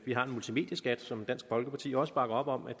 har en multimedieskat som dansk folkeparti også bakker op om er